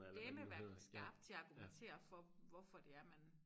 Dælme være skarp til at argumentere for hvorfor det er man